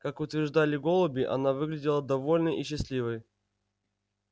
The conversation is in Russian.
как утверждали голуби она выглядела довольной и счастливой